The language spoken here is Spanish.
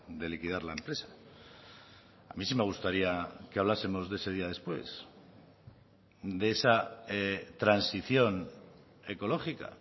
de liquidar la empresa a mí sí me gustaría que hablásemos de ese día después de esa transición ecológica